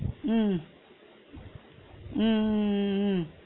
உம் உம் உம் உம் உம்